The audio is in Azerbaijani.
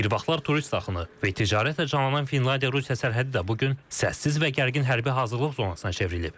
Bir vaxtlar turist axını və ticarətlə canlanan Finlandiya Rusiya sərhədi də bu gün səssiz və gərgin hərbi hazırlıq zonasına çevrilib.